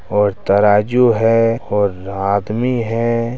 और तराजू है और आदमी है।